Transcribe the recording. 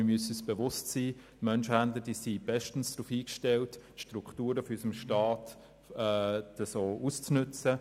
Wir müssen uns aber bewusst sein, dass Menschenhändler bestens darauf eingestellt sind, die Strukturen unseres Staates auszunutzen.